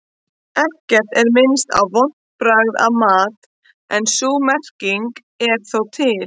Ekkert er minnst á vont bragð af mat en sú merking er þó til.